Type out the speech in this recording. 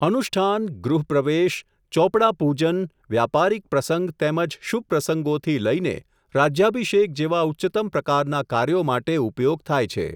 અનુષ્ઠાન, ગૃહ પ્રવેશ, ચોપડાપૂજન, વ્યાપારિક પ્રસંગ તેમજ શૂભ પ્રસંગોથી લઈને, રાજ્યાભિષેક જેવા ઉચ્ચત્તમ પ્રકારના કાર્યો માટે ઉપયોગ થાય છે.